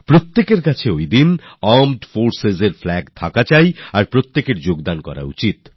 প্রত্যেকের কাছে সেদিন আর্মড Forcesএর Flagথাকাই উচিত আর উদযাপনও করতে হবে